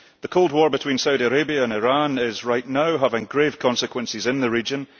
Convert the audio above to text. The cold war between Saudi Arabia and Iran is right now having grave consequences in the region.